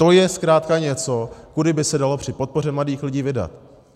To je zkrátka něco, kudy by se dalo při podpoře mladých lidí vydat.